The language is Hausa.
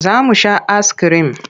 Za mu sha askirim.